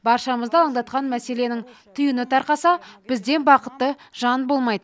баршамызды алаңдатқан мәселенің түйіні тарқаса бізден бақытты жан болмайт